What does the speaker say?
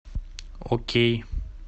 окей